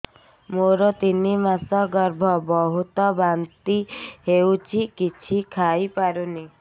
ମୋର ତିନି ମାସ ଗର୍ଭ ବହୁତ ବାନ୍ତି ହେଉଛି କିଛି ଖାଇ ପାରୁନି